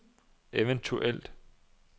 eventuelt